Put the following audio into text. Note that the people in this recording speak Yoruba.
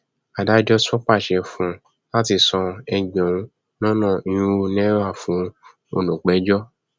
adájọ tún pàṣẹ fún un láti san ẹgbẹrún lọnà irínwó náírà fún olùpẹjọ